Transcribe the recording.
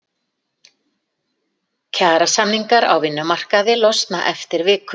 Kjarasamningar á vinnumarkaði losna eftir viku